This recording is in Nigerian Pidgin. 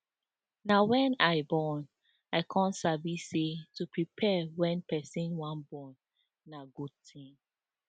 na wen i born i come sabi say to prepare wen person wan born na good thing